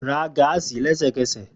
Ra gáásì lẹsẹkẹsẹ!